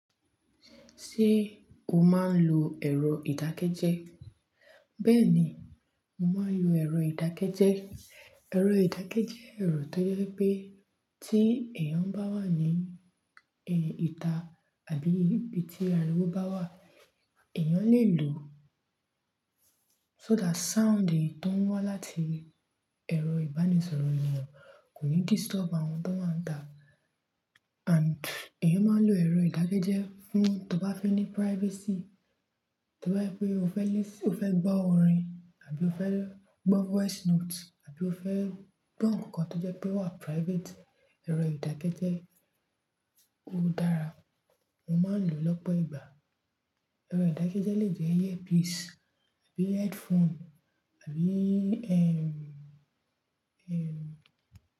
Ṣé o máa ń lo ẹ̀rọ ìdákẹ́jẹ́? Bẹ́ẹ̀ni, mo máa ń lo ẹ̀rọ ìdákẹ́jẹ́. Ẹ̀rọ ìdákẹ́jẹ́ jẹ́ ẹ̀rọ tó jẹ́ pé tí èèyàn bá wà ní ìta àbí ibi tí ariwo bá wà, èèyàn lè lò ó. So that sound èyí tó ń wá láti ẹ̀rọ ìbánisọ̀rọ̀ èèyàn kò ní disturb àwọn tó wáa ń ta and èèyàn máa ń lo ẹ̀rọ ìdákẹ́jẹ́ fún, to bá fẹ́ ní privacy, to bá je pé ó fẹ́ listen, ó fẹ́ gbọ́ orin àbí ó fẹ́ gbọ́ voice note àbí ó fẹ́ gbọ́ ohun kankann tó jẹ́ pé ó wà private, ẹ̀rọ ìdákẹ́jẹ́ ó dára. Mo máa ń lò ó lọ́pọ̀ ìgbà. Ẹ̀rọ ìdákẹ́jẹ́ lè jẹ́ ear piece àbí headphone àbí, ẹ́, ẹ́